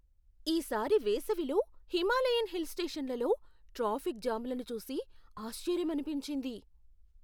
ఈ సారి వేసవిలో హిమాలయన్ హిల్ స్టేషన్లలో ట్రాఫిక్ జామ్లను చూసి ఆశ్చర్యమనిపించింది.